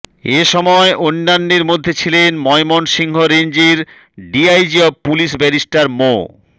এসময় অন্যান্যের মধ্যে ছিলেন ময়মনসিংহ রেঞ্জের DIG of police barrister Md